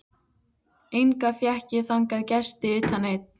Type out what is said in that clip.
Enga fékk ég þangað gesti utan einn.